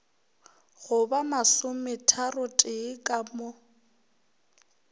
go ba masometharotee ka mo